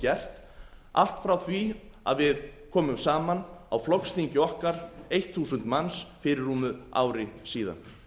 gert allt frá því að við komum saman á flokksþingi okkar eitt þúsund manns fyrir rúmu ári síðan